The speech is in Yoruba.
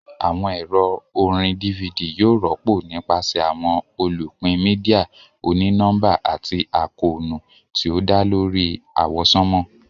Awọn ẹrọ orín DVD yóò rọpo nipasẹ awọn olupin media òní nọmba ati àkóónú ti o dá lórí àwọsánmà.